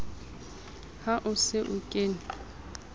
ha o se o kene